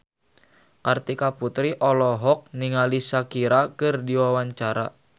Kartika Putri olohok ningali Shakira keur diwawancara